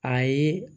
Ayi